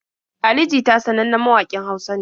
Ali jita sanannen mawaƙin Hausa ne.